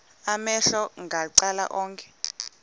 amehlo macala onke